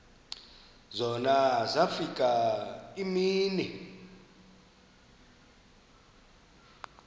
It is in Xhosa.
zona zafika iimini